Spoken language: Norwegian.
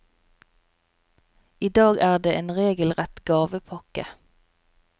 I dag er det en regelrett gavepakke.